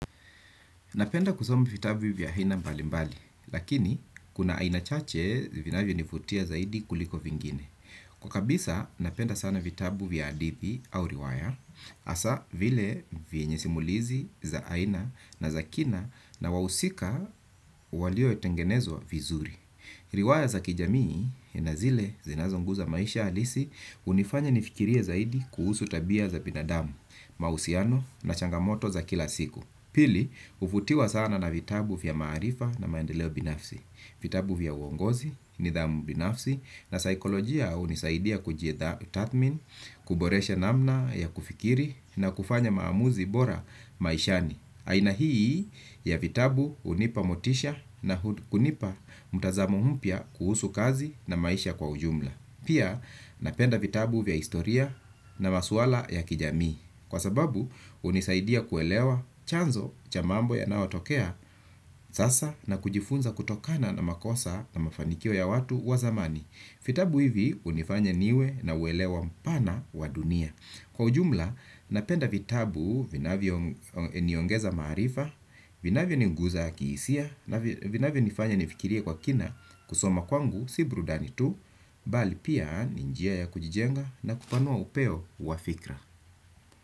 Napenda kusoma vitabu vya aina mbalimbali, lakini kuna aina chache vinavyonivutia zaidi kuliko vingine. Kwa kabisa napenda sana vitabu vya hadithi au riwaya, hasaa vile vyenye simulizi za aina na za kina na wahusika waliotengenezwa vizuri. Riwaya za kijamii na zile zinazoguza maisha halisi hunifanya nifikirie zaidi kuhusu tabia za binadamu, mahusiano na changamoto za kila siku. Pili, huvutiwa sana na vitabu vya maarifa na maendeleo binafsi. Vitabu vya uongozi nidhamu binafsi na saikolojia hunisaidia kujitathmin, kuboresha namna ya kufikiri na kufanya maamuzi bora maishani. Aina hii ya vitabu hunipa motisha na kunipa mtazamo mpya kuhusu kazi na maisha kwa ujumla. Pia napenda vitabu vya historia na maswala ya kijami. Kwa sababu hunisaidia kuelewa chanzo cha mambo yanayotokea sasa na kujifunza kutokana na makosa na mafanikio ya watu wa zamani. Vitabu hivi hunifanya niwe na uelewa mpana wa dunia. Kwa ujumla, napenda vitabu, vinavyoniongeza maarifa, vinavyoniguza kihisia, na vinavyonifanya nifikirie kwa kina kusoma kwangu, si burudani tu, bali pia ni njia ya kujijenga na kupanua upeo wa fikra.